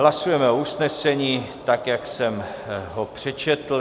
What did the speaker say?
Hlasujeme o usnesení, tak jak jsem ho přečetl.